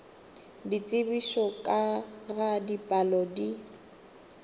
ditsebišo ka ga dipalo di